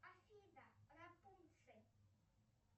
афина рапунцель